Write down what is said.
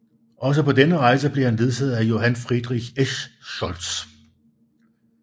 Også på denne rejse blev han ledsaget af Johann Friedrich Eschscholtz